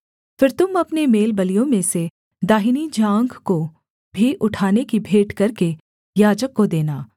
फिर तुम अपने मेलबलियों में से दाहिनी जाँघ को भी उठाने की भेंट करके याजक को देना